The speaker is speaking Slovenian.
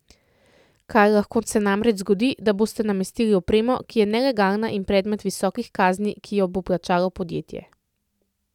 Kaj lahko se namreč zgodi, da boste namestili opremo, ki je nelegalna in predmet visokih kazni, ki jih bo plačalo podjetje.